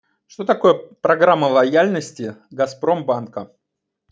что такое программа лояльности газпромбанка